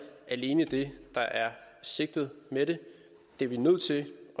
alene det der er sigtet med det det vi er nødt til at